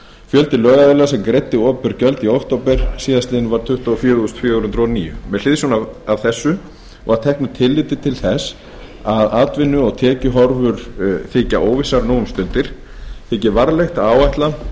fjöldi lögaðila sem greiddi opinber gjöld í október síðastliðinn var tuttugu og fjögur þúsund fjögur hundruð og níu með hliðsjón af framansögðu og að teknu tilliti til þess að atvinnu og tekjuhorfur þykja óvissar nú um stundir þykir varlegt að áætla að